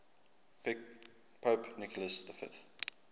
pope nicholas v